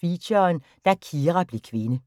Feature: Da Kira blev kvinde *